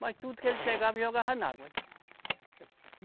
Mas tudo que ele pegava, jogava na água.